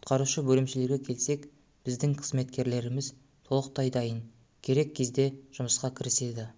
құтқарушы бөлімшелерге келсек біздің қызметкерлеріміз толықтай дайын керек кезде жұмысқа кіріседі